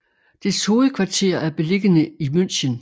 Dets hovedkvarter er beliggende i München